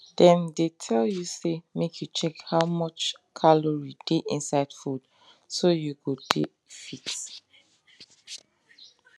dem dey tell you say make you check how much calorie dey inside food so you go dey fit